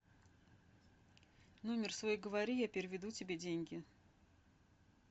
номер свой говори я переведу тебе деньги